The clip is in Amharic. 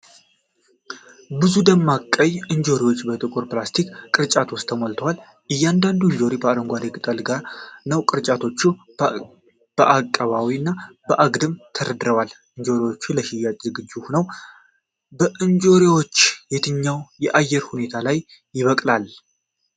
ብዙ ደማቅ ቀይ እንጆሪዎች በጥቁር ፕላስቲክ ቅርጫቶች ውስጥ ተሞልተዋል ። እያንዳንዱ እንጆሪ ከአረንጓዴ ቅጠሉ ጋር ነው። ቅርጫቶቹ በአቀባዊ እና አግድም ተደርድረዋል። እንጆሪዎቹ ለሽያጭ ዝግጁ ሆነዋል። እንጆሪዎችን የትኛው የአየር ሁኔታ ያበቅላል?